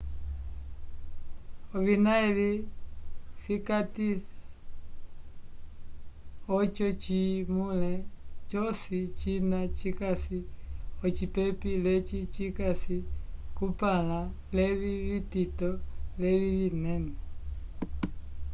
ovina evi cikatisa ojo cimule joci jina jikasi ocipepi leci jicasi cumpanla levi vtito levi vinene